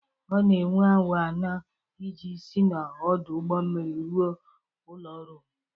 Ọ na-ewe awa anọ iji si n'ọdụ ụgbọ mmiri ruo ụlọ ọrụ m.